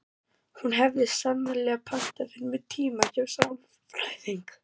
Hún hefði snarlega pantað fyrir mig tíma hjá sálfræðingi.